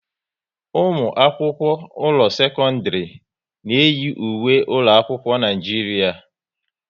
Ụmụ akwụkwọ ụlọ sekọndrị na eyi ùwé ụlọ akwụkwọ n'Naijiria